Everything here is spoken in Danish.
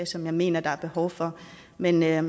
som jeg mener der er behov for men jeg